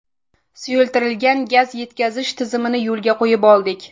Suyultirilgan gaz yetkazish tizimimizni yo‘lga qo‘yib oldik.